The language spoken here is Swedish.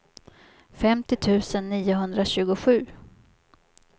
femtio tusen niohundratjugosju